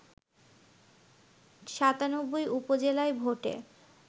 ৯৭ উপজেলায় ভোটে